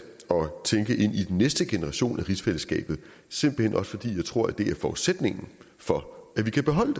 tænke ind i den næste generation af rigsfællesskabet simpelt hen også fordi jeg tror det er forudsætningen for at vi kan beholde